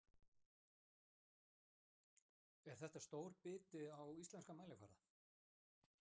Er þetta stór biti á íslenskan mælikvarða?